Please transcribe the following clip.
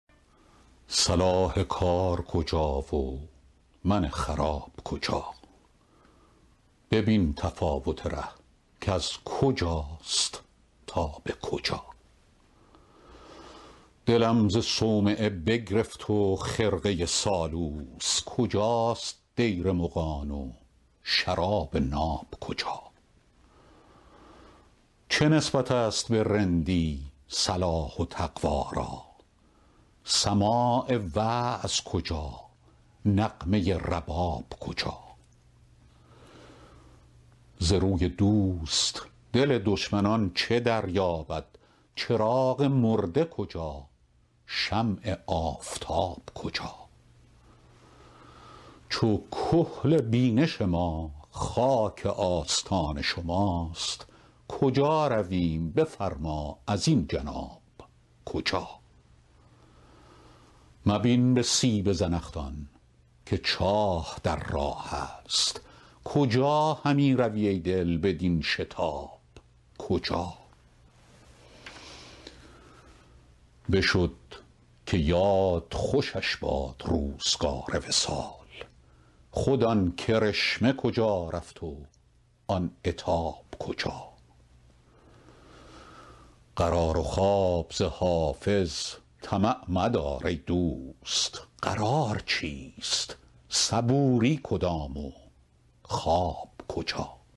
صلاح کار کجا و من خراب کجا ببین تفاوت ره کز کجاست تا به کجا دلم ز صومعه بگرفت و خرقه سالوس کجاست دیر مغان و شراب ناب کجا چه نسبت است به رندی صلاح و تقوا را سماع وعظ کجا نغمه رباب کجا ز روی دوست دل دشمنان چه دریابد چراغ مرده کجا شمع آفتاب کجا چو کحل بینش ما خاک آستان شماست کجا رویم بفرما ازین جناب کجا مبین به سیب زنخدان که چاه در راه است کجا همی روی ای دل بدین شتاب کجا بشد که یاد خوشش باد روزگار وصال خود آن کرشمه کجا رفت و آن عتاب کجا قرار و خواب ز حافظ طمع مدار ای دوست قرار چیست صبوری کدام و خواب کجا